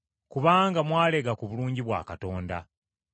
kubanga mwalega ku bulungi bwa Mukama.